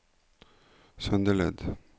Søndeled